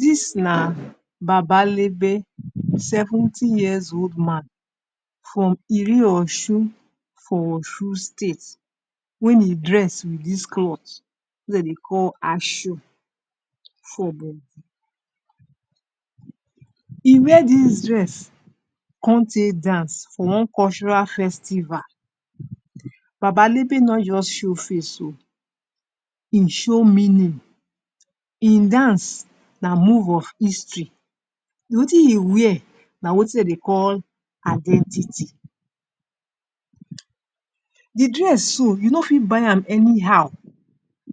Dis na baba lebe, seventy years old man for iri Osun for Osun state. Wen e dress with dis cloth wey de dey call for body he wear dis dress con tae dance for one cultural festival, baba lebe no just show face o, e show meaning, im dance na move of history, wetin e wear na wetin de dey call identity. The dress so you no fit buy am any how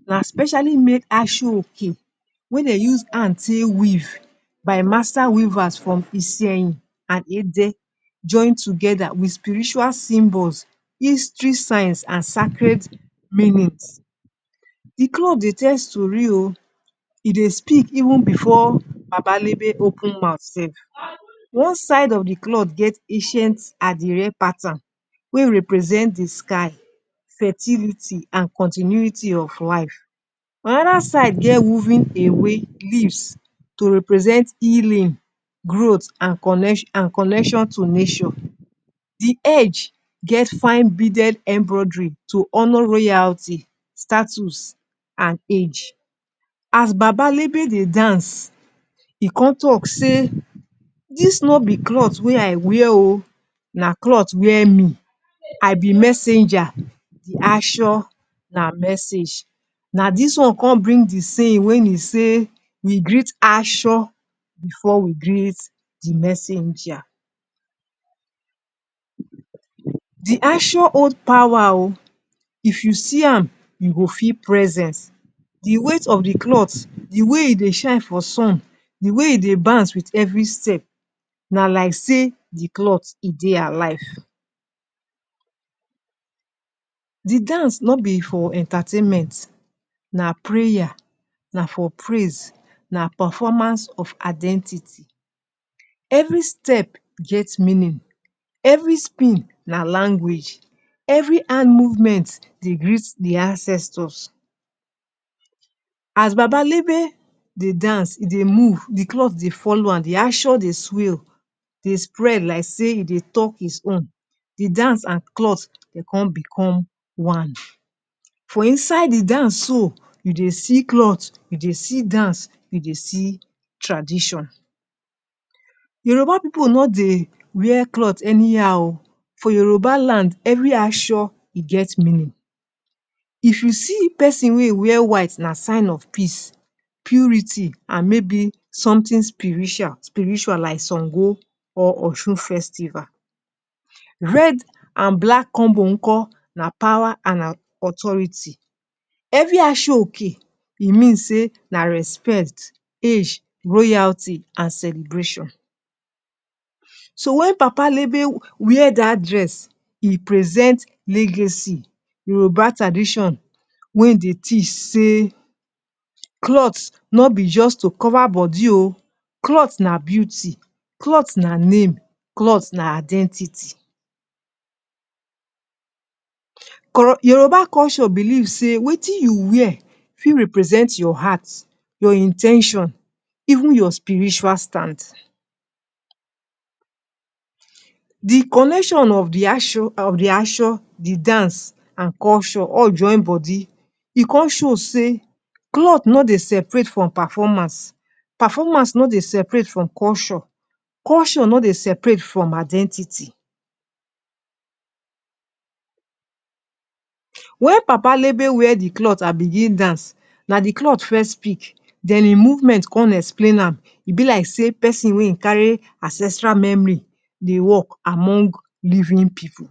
na specially made ashoke wey dey use hand take weave by master weavers from Isenyi and Ede join togeda with spiritual symbol, history science and sacred meanings. The cloth dey tell story o, e dey speak even before baba lebe open mouth sef One side of the cloth get accient adire pattern wey represent the sky, fertility and continuity of wife. Anoda side get woven ewe leaves to represent healing, growth and connection to nature. The edge get fine beaded embroidery to honor royalty, status and age. As baba lebe dey dance e con talk sey dis no be cloth wey I wear o, na cloth wear me I be messenger, the aso na message na this one con bring the saying wen e say we greet aso before we greet the messanger. The aso hold pawa o, if you see am, you go feel presence, the weight of the cloth, the way e dey shine for sun, the way e dey bounce with every step na like sey the cloth e dey alive. The dance no be for entertainment na for prayer, na for praise, na performance of identity, every step get meaning, every spin na language, every hand movement dey greet the ancestors. As baba lebe dey dance e dey move, the cloth dey folo am the aso dey swail, dey spread like sey e dey talk his own, the dance and cloth dem con become one. For inside the dance so you dey see dance, you dey see cloth, you dey see tradition. Yoruba pipu no dey wear cloth any how o, for Yoruba land every aso e get meanin, if you see pesin wey wear white na sign of peace, purity and maybe somtin spiritual like Sango or Osun festival. Red and black combo nko na pawa and authority. Every ashoke e mean sey na respect, age, royalty and celebration. So wen papa lebe wear dat dress, e present legacy Yoruba tradition wey dey teach sey cloth no be just to cover body o, cloth na beauty, cloth na name, cloth na identity. Yoruba culture belief sey wetin you wear fit represent your heart, your in ten tion, even your spiritual stand. The connection of the of the aso, the dance and culture all join body, e con show sey cloth no dey separate from paformance, paformance no dey seperate from culture, culture no dey separate from identity. Wen papalebe wear the cloth and begin dance na the cloth first speak, den e movement con explain am e be like pesin wey in carry ancestral memori dey work among living pipu.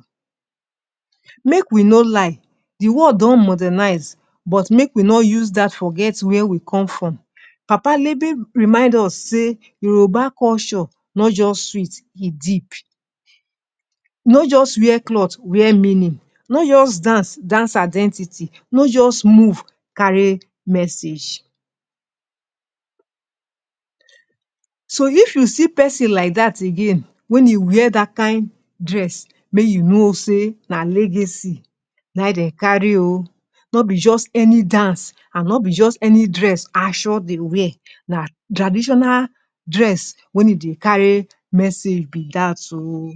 Make we no lie, the world don modernize, make we no use dat forget where we come from, papa lebe remind us sey Yoruba culture no just sweet, e deep. No just wear cloth wear meanin, no just dance, dance identity, no just move, carry message. So if you see pesin like dat again wey [?[ wear dat kind dress mey you no sey na legacy na in de kari o, no be just any dance, and no be just any dress asho dey wear na traditional dress wey e dey kari message be dat o